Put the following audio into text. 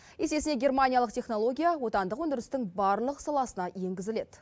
есесіне германиялық технология отандық өндірістің барлық саласына енгізіледі